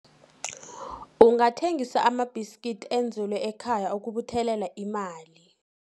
Ungathengisa amabhiskidi enzelwe ekhaya ukubuthelela imali.